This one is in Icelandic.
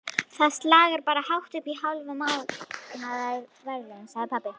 Það slagar bara hátt uppí hálf mánaðarlaun, sagði pabbi.